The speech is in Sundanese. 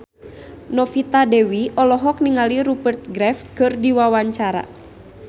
Novita Dewi olohok ningali Rupert Graves keur diwawancara